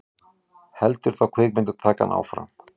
Heldur þá kvikmyndatakan áfram?